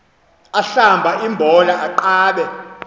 ahlamba imbola aqabe